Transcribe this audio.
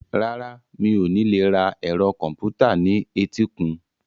Rárá, mi ò ní lè ra ẹ̀rọ kọ̀m̀pútà ní etíkun.